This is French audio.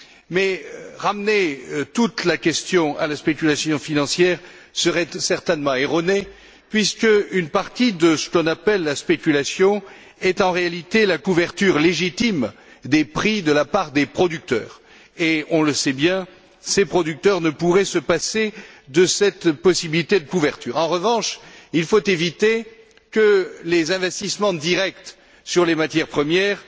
Mais ramener toute la question à la spéculation financière serait certainement erroné puisqu'une partie de ce qu'on appelle la spéculation est en réalité la couverture légitime des prix de la part des producteurs et, on le sait bien, ces producteurs ne pourraient se passer de cette possibilité de couverture. En revanche, il faut éviter que les investissements directs sur les matières premières